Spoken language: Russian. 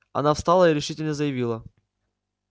она встала и решительно заявила